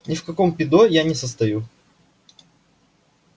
ни в каком пидо я не состою